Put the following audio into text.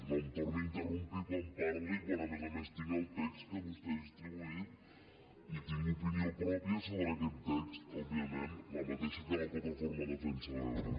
no em torni a interrompre quan parlo i quan a més a més tinc el text que vostè ha distribuït i tinc opinió pròpia sobre aquest text òbviament la mateixa que la plataforma de defensa de l’ebre